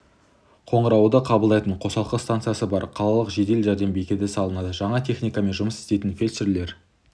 қоңырауды қабылдайтын қосалқы станциясы бар қалалық жедел жәрдем бекеті салынады жаңа техникамен жұмыс істейтін фельдшерлер